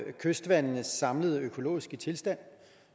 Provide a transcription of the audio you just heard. kystvandenes samlede økologiske tilstand